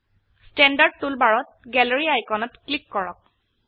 standard টুলবাৰত gallery আইকনত click কৰক